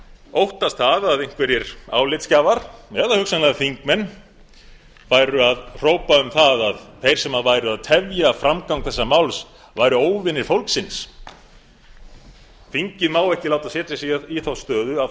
óttast það að einhverjir álitsgjafar eða hugsanlega þingmenn færu að hrópa um það að þeir sem væru að tefja framgang þessa máls væru óvinir fólksins þingið má ekki láta setja sig í þá stöðu